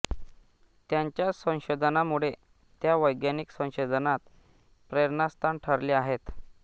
त्यांच्या संशोधनामुळे त्या वैज्ञानिक संशोधनात प्रेरणास्थान ठरल्या आहेत